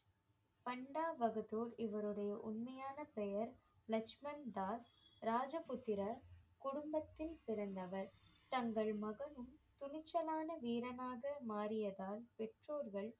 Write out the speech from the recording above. பண்டா பகதூர் இவருடைய உண்மையான பெயர் லக்ஷ்மன் தாஸ் ராஜபுத்திரர் குடும்பத்தில் பிறந்தவர் தங்கள் மகனும் துணிச்சலான வீரனாக மாறியதால் பெற்றோர்கள்